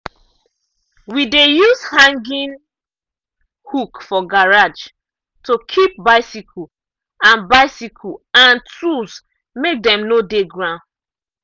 we dey use hanging hook for garage to keep bicycle and bicycle and tools make dem no dey ground.